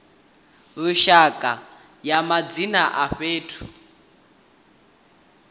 lushaka ya madzina a fhethu